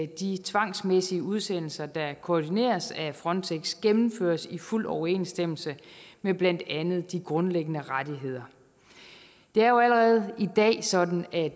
de tvangsmæssige udsendelser der koordineres af frontex gennemføres i fuld overensstemmelse med blandt andet de grundlæggende rettigheder det er jo allerede i dag sådan at